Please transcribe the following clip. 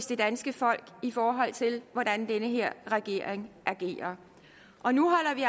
det danske folk i forhold til hvordan den her regering agerer og nu holder vi